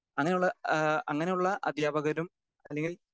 speaker 2 അങ്ങനെയുള്ള ഏഹ് അങ്ങനെയുള്ള അധ്യാപകരും അല്ലെങ്കിൽ